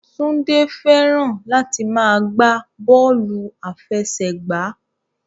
Túndé fẹ́ràn láti máa gbá bọ́ọ̀lù àfẹsẹ̀gbá